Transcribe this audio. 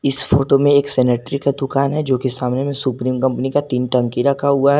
इस फोटो में एक सेनेटरी का दुकान है जो कि सामने में सुप्रीम कंपनी का तीन टंकी रखा हुआ है।